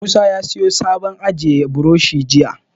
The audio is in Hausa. Musa ya siyo sabon abun ajiye burushi jiya.